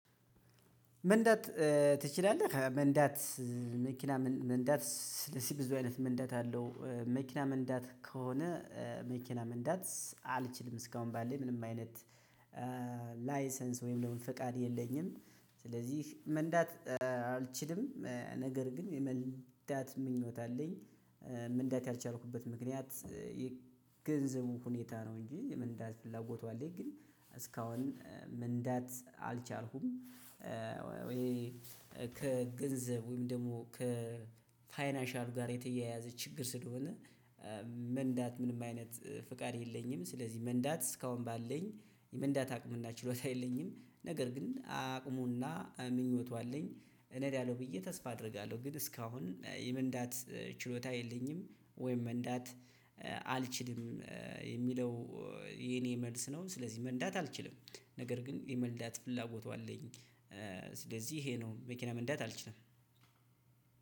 "መንዳት ትችላለህ?" መንዳት መኪና መን መንዳት ስለዚህ ብዙ አይነት መንዳት አለው። መኪና መንዳት ከሆነ መኪና መንዳት አልችልም እስካሁን ባለኝ ምንም አይነት ላይሰንስ ወይም ደግሞ ፈቃድ የለኝም። ስለዚህ መንዳት አልችልም፤ ነገር ግን የመንዳት ምኞት አለኝ። መንዳት ያልቻልኩበት ምክንያት የገንዘቡ ሁኔታ ነው እንጂ የመንዳት ፍላጎቱ አለኝ ግን እስካሁን መንዳት አልቻልኩም። ከገንዘብ ወይም ደግሞ ከፋይናንሻሉ ጋር የተያያዘ ችግር ስለሆነ መንዳት ምንም አይነት ፍቃድ የለኝም። ስለዚህ መንዳት እስካሁን ባለኝ የመንዳት አቅምና ችሎታ የለኝም፤ ነገር ግን አቅሙና ምኞቱ አለኝ። ርነዳለሁ ብዬ ተስፋ አደርጋለሁ፤ ግን እስካሁን የመንዳት ችሎታ የለኝም ወይም መንዳት አልችልም የሚለው የኔ መልስ ነው። ስለዚህ መንዳት አልችልም፤ ነገር ግን የመንዳት ፍላጎቱ አለኝ። ስለዚህ ይሄ ነው መኪና መንዳት አልችልም።